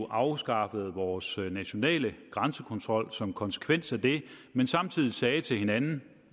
afskaffede vores nationale grænsekontrol som konsekvens af det men samtidig sagde til hinanden